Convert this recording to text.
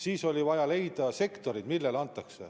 Siis oli vaja leida sektorid, millele anda.